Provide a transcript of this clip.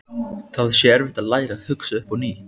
Það sé erfitt að læra að hugsa upp á nýtt.